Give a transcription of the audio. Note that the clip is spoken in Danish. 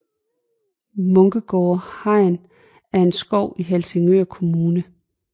Munkegårde Hegn er en skov i Helsingør Kommune